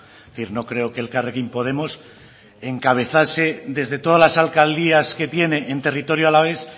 es decir no creo que elkarrekin podemos encabezase desde todas las alcaldías que tiene en territorio alavés